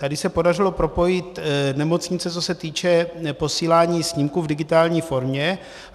Tady se podařilo propojit nemocnice, co se týče posílání snímků v digitální formě.